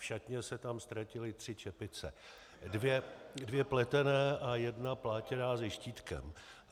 V šatně se tam ztratily tři čepice, dvě pletené a jedna plátěná se štítkem.